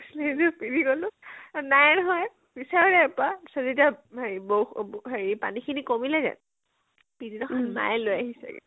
পিন্ধি গলো, নাইয়ে নহয়, বিচাৰিলেও নাপা বৌ হেৰি পানীখিনি কমিলেগে । পিছ দিনাখন মায়ে লৈ আহিছে গে